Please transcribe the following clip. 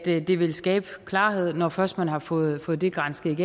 det vil skabe klarhed når først man har fået fået det gransket